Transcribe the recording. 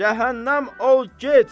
Cəhənnəm ol get!